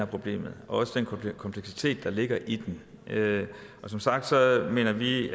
problemet og den kompleksitet der ligger i det og som sagt mener vi